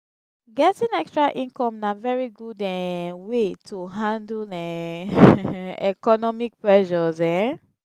getting extra income na very good um wey to handle um economic pressures um